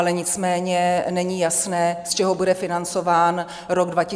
Ale nicméně není jasné, z čeho bude financován rok 2023 a dále.